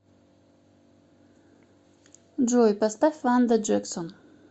джой поставь ванда джексон